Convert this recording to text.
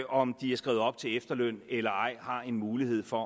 om de er skrevet op til efterløn eller ej har en mulighed for